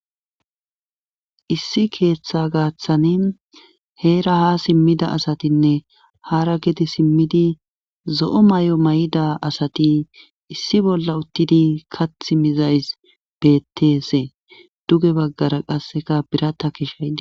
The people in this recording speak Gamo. issi keeththa gaaththani heera ha simmida asatinne hara gedi simmidi zo'o mayo mayida asati issi bolla uttidi kathh mizays betese duge baggara qasseka birata kishaydi